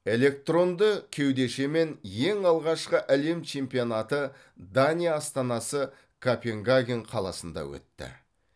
электронды кеудешемен ең алғашқы әлем чемпионаты дания астанасы копенгаген қаласында өтті